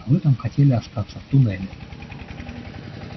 а вы там хотели остаться в туннеле